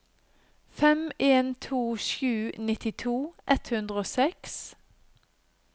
fem en to sju nittito ett hundre og seks